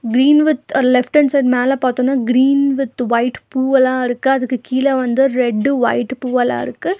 Green with a left hand side மேல பாத்தோனா green with white பூவல்லா இருக்கு அதுக்கு கீழ வந்து ரெட்டு ஒய்ட்டு பூவல்லாருக்கு.